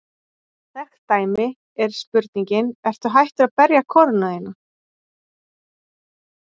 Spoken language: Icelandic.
Þekkt dæmi er spurningin: Ertu hættur að berja konuna þína?